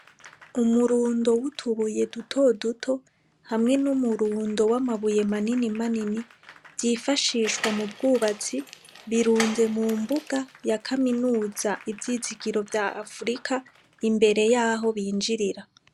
Umurundo utubuye dutoduto hamwe numurundo amabuye manini manini vyifashishwa mubwubatsi birunze mumbuga ya Kaminuza ivyizigiro vya Afrika imbere yaho binjirira.